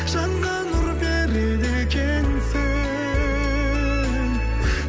жанға нұр береді екенсің